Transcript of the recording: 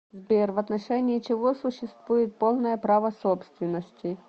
сбер в отношении чего существует полное право собственности